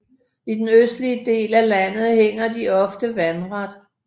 I den østlige del af landet hænger de oftest vandret